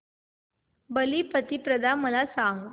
बलिप्रतिपदा मला सांग